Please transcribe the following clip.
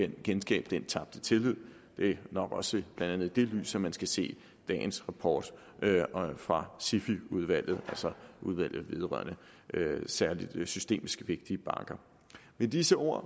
genskabe den tabte tillid det er nok også blandt andet i det lys at man skal se dagens rapport fra sify udvalget altså udvalget vedrørende særligt systemisk vigtige banker med disse ord